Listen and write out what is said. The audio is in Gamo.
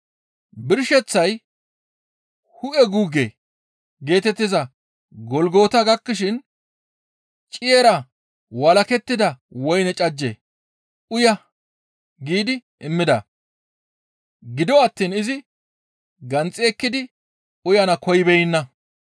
Birsheththay, «Hu7e guugge» geetettiza Golgota gakkishin ciyera walakettida woyne cajje, «Uya» giidi immida; gido attiin izi ganxi ekkidi uyana koyibeenna.